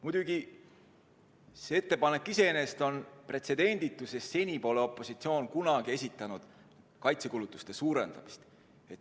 Muidugi, see ettepanek iseenesest on pretsedenditu, sest seni pole opositsioon kunagi esitanud ettepanekut kaitsekulutusi suurendada.